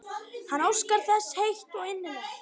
Hann óskar þess heitt og innilega.